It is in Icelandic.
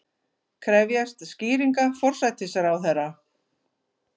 Krefjast skýringa forsætisráðherra